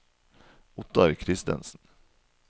Ottar Christensen